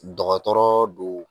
Dɔgɔtɔrɔ don.